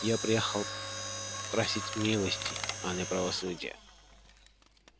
я приехал просить милости а не правосудия